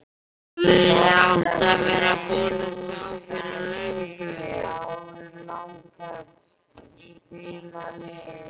HEFÐI ÁTT AÐ VERA BÚIN AÐ SJÁ ÞAÐ FYRIR LÖNGU!